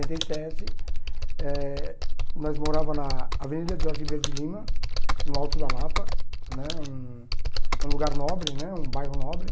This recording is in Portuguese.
e sete, eh nós morava na Avenida Jorge Ribeiro de Lima, no Alto da Lapa né, um um lugar nobre né, um bairro nobre.